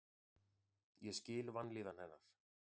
Ég skil vanlíðan hennar.